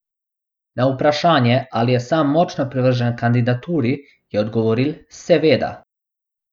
Na vprašanje, ali je sam močno privržen kandidaturi, je odgovoril: "Seveda.